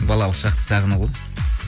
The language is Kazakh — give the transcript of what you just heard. балалық шақты сағыну ғой